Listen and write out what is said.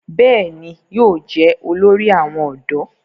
bẹ́ẹ̀ni, yóò jẹ́ olórí àwọn ọ̀dọ́